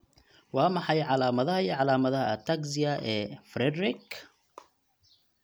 Waa maxay calaamadaha iyo calaamadaha ataxia ee Friedreich?